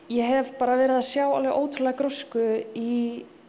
ég hef verið að sjá ótrúlega grósku í